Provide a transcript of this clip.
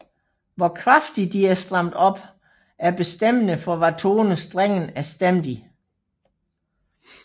Hvor kraftigt de er stramt op er bestemmende for hvad tone strengen er stemt i